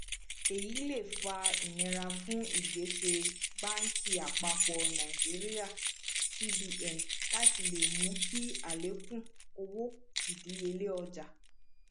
èyí lè fà inira fún ìgbésẹ bánkì àpapọ nàìjíríà cbn láti le mú kí alekun owó ìdíyelé ọjà